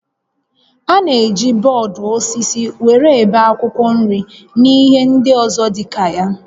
A na-eji bọọdụ osisi were ebe akwụkwọ nri na ihe ndị ọzọ dịka ya